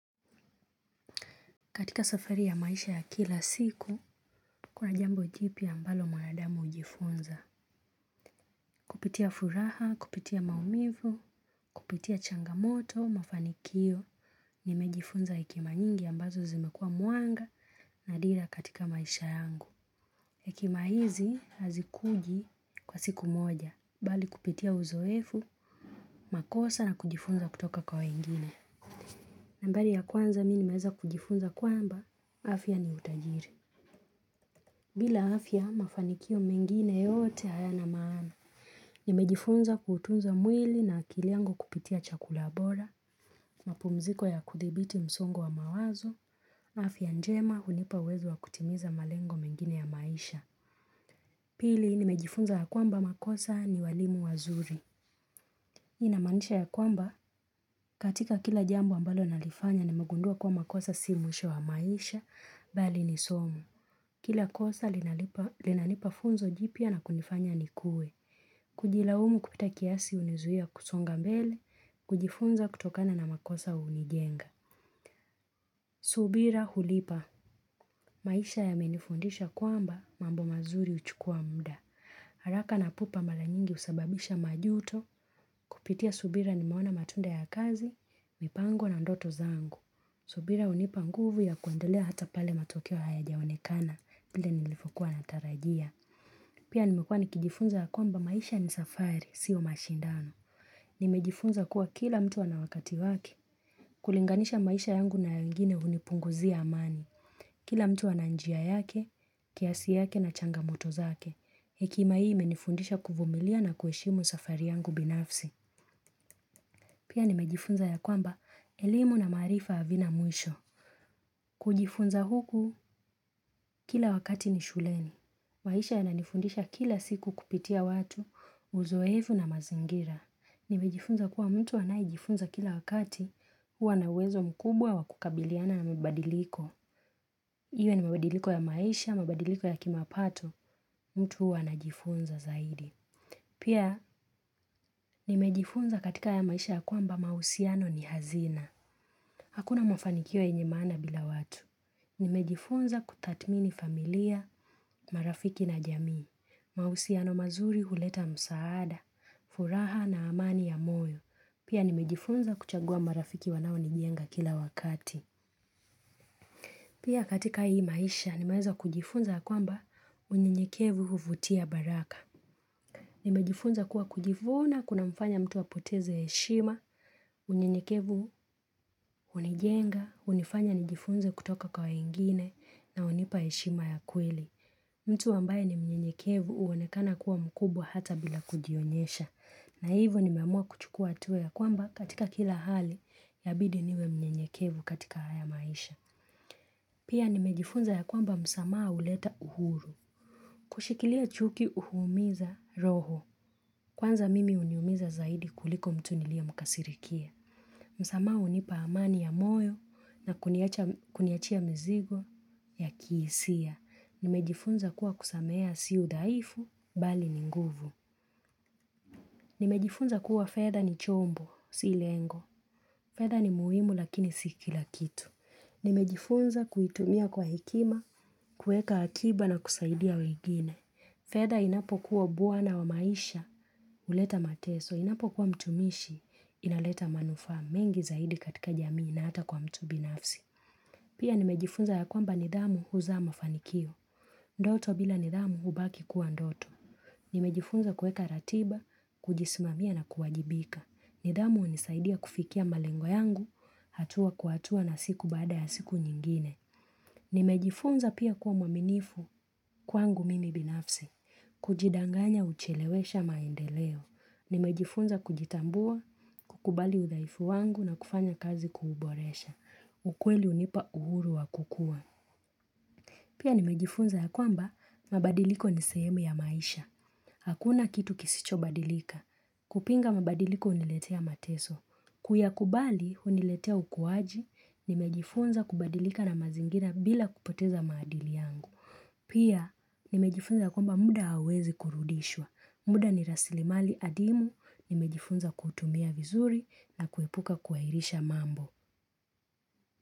Katika safari ya maisha ya kila siku, kuna jambo jipi ambalo mwanadamu hujifunza. Kupitia furaha, kupitia maumivu, kupitia changamoto, mafanikio, nimejifunza hekima nyingi ambazo zimekua manga na dira katika maisha yangu. Hkima hizi hazikuji kwa siku moja, bali kupitia uzoefu, makosa na kujifunza kutoka kwa wengine. Nambali ya kwanza, mi nimeweza kujifunza kwamba, afya ni utajiri. Bila afya, mafanikio mengine yote hayana maana. Nimejifunza kuutunza mwili na akili yango kupitia chakula bora, mapumziko ya kudhibiti msongo wa mawazo, afya njema hunipa uwezo wa kutimiza malengo mengine ya maisha. Pili, nimejifunza ya kwamba makosa ni walimu wazuri. Hii inamaanisha ya kwamba, katika kila jambo ambalo nalifanya nimegundua kuwa makosa si mwisho wa maisha, bali ni somu. Kila kosa linalipa inanipa funzo jipya na kunifanya nikue. Kujilaumu kupita kiasi unizuia kusonga mbele, kujifunza kutokana na makosa unijenga. Subira hulipa. Maisha yamenifundisha kwamba mambo mazuri huchukua mda. Haraka na pupa mara nyingi husababisha majuto. Kupitia subira nimeona matunda ya kazi, mipango na ndoto zangu. Subira unipa nguvu ya kuendelea hata pale matokeo hayajaonekana vile nilivyokua natarajia. Pia nimekuwa nikijifunza ya kwamba maisha ni safari, sio mashindano. Nimejifunza kuwa kila mtu ana wakati wake, kulinganisha maisha yangu na ya wengine hunipunguzia amani. Kila mtu ana njia yake, kiasi yake na changamoto zake. Hekima hii menifundisha kuvumilia na kueshimu safari yangu binafsi. Pia nimejifunza ya kwamba elimu na maarifa havina mwisho. Kujifunza huku kila wakati ni shuleni. Maisha yananifundisha kila siku kupitia watu, uzoefu na mazingira. Nimejifunza kuwa mtu anayejifunza kila wakati, huwa na uwezo mkubwa wa kukabiliana na mabadiliko. Iwe ni mabadiliko ya maisha, mabadiliko ya kimapato, mtu huwa anajifunza zaidi. Pia, nimejifunza katika haya maisha ya kwamba mausiano ni hazina. Hakuna mafanikio yenye maana bila watu. Nimejifunza kutatmini familia, marafiki na jamii. Mahusiano mazuri huleta msaada, furaha na amani ya moyo. Pia nimejifunza kuchagua marafiki wanaonijenga kila wakati. Pia katika hii maisha, nimeweza kujifunza ya kwamba unyenyekevu huvutia baraka. Nimejifunza kuwa kujivuuna kunamfanya mtu apoteze heshima, unyenyekevu hunijenga, hunifanya nijifunze kutoka kwa ingine na hunipa heshima ya kweli. Mtu ambaye ni mnyenyekevu uonekana kuwa mkubwa hata bila kujionyesha. Na hivyo nimemua kuchukua hatua ya kwamba katika kila hali yabidi niwe mnyenyekevu katika haya maisha. Pia nimejifunza ya kwamba msamaa uleta uhuru. Kushikilia chuki uhuumiza roho. Kwanza mimi huniumiza zaidi kuliko mtu niliye mkasirikia. Msamaha unipa amani ya moyo na kuniachia mizigo ya kiisia. Nimejifunza kuwa kusamehea si udhaifu, bali ni nguvu Nimejifunza kuwa fedha ni chombo, si lengo fedha ni muhimu lakini si kila kitu Nimejifunza kuitumia kwa hekima, kueka akiba na kusaidia wengine fedha inapokuwa bwana wa maisha, uleta mateso Inapokuwa mtumishi, inaleta manufaa mengi zaidi katika jamii na hata kwa mtu binafsi Pia nimejifunza ya kwamba nidhamu huzaa mafanikio Ndoto bila nidhamu hubaki kuwa ndoto. Nimejifunza kueka ratiba, kujismamia na kuwajibika. Nidhamu hunisaidia kufikia malengo yangu, hatua kwa hatua na siku baada ya siku nyingine. Nimejifunza pia kuwa mwaminifu kwangu mimi binafsi. Kujidanganya huchelewesha maendeleo. Nimejifunza kujitambua, kukubali udhaifu wangu na kufanya kazi kuuboresha. Ukweli unipa uhuru wa kukua. Pia nimejifunza ya kwamba mabadiliko ni sehemu ya maisha. Hakuna kitu kisicho badilika. Kupinga mabadiliko uniletea mateso. Kuyakubali huniletea ukuwaji, nimejifunza kubadilika na mazingira bila kupoteza maadili yangu. Pia nimejifunza ya kwamba muda hauwezi kurudishwa. Muda ni rasilimali adimu, nimejifunza kuutumia vizuri na kuepuka kuahirisha mambo.